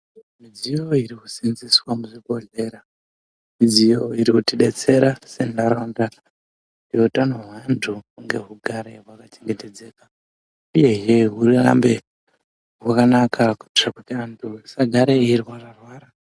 Midziyo iri ku senzeswa muzvi bhodhlera midziyo iri kuti detsera se ndaraunda ne utano hwe antu hugara hwaka chengetedzeka uye hurambe hwakanaka kuitira kuti antu asa gare eyi rwara rwara.